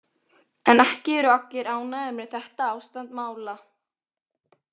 En ekki eru allir ánægðir með þetta ástand mála.